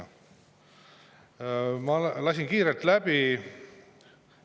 Ma kiirelt läbi.